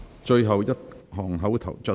最後一項口頭質詢。